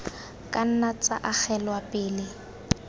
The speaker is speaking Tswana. ka nna tsa agelwa pele